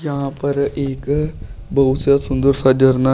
यहां पर एक बहुत सा सुंदर सा झरना--